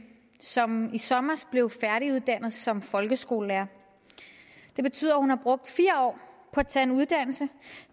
som i sommer blev færdiguddannet som folkeskolelærer det betyder at hun har brugt fire år på at tage en uddannelse